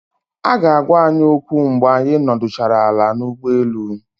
Aga agwa anyi okwu mgbe anyị nọdụchara ala n'ụgbọelu